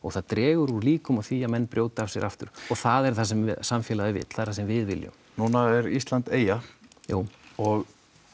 það dregur úr líkum á því að menn brjóti af sér aftur og það er það sem samfélagið vill það sem við viljum núna er Ísland eyja jú og